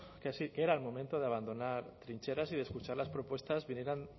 que sí que era el momento de abandonar trincheras y de escuchar las propuestas vinieran